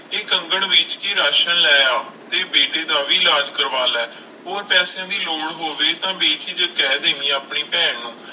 ਇਹ ਕੰਗਣ ਵੇਚ ਕੇ ਰਾਸ਼ਣ ਲੈ ਆ, ਤੇ ਬੇਟੇ ਦਾ ਵੀ ਇਲਾਜ਼ ਕਰਵਾ ਲੈ, ਹੋਰ ਪੈਸਿਆਂ ਦੀ ਲੋੜ ਹੋਵੇ ਤਾਂ ਬੇਝਿਜਕ ਕਹਿ ਦੇਵੀਂ ਆਪਣੀ ਭੈਣ ਨੂੰ।